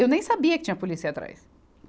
Eu nem sabia que tinha polícia atrás.